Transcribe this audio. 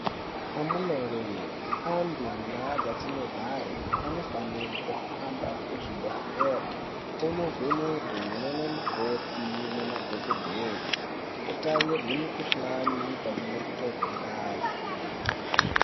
Amunawe anhu mandau dzatinogare anofanire kuhamba kuzvibhehlere kunovhenekwe nanamukoti nemadhokodheya kutarirwe mikhuhlane pamwe nekutorwe ngazi.